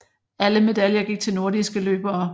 Alle medaljer gik til nordiske løbere